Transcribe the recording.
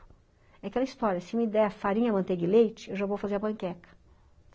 É aquela história, se me der farinha, manteiga e leite, eu já vou fazer a panqueca.